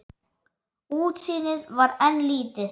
Útsýnið var enn lítið.